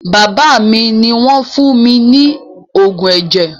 Bàbá mi ni wọn fún mi ní oògùn ẹ̀jẹ̀